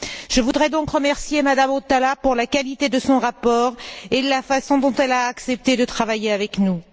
Je voudrais donc remercier Mme Hautala pour la qualité de son rapport et la façon dont elle a accepté de travailler avec nous.